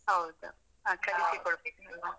ಹೌದು, ಆ ಕಲಿಸಿ ಕೊಡ್ಬೇಕು.